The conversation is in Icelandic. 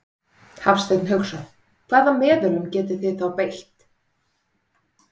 Hafsteinn Hauksson: Hvaða meðölum getið þið þá beitt?